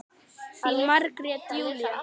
Þín Margrét Júlía.